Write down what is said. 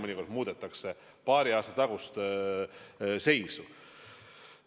Mõnikord muudetakse ka paari aasta tagust seisu.